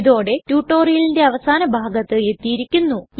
ഇതോടെ ടുടോരിയലിന്റെ അവസാന ഭാഗത്ത് എത്തിയിരിക്കുന്നു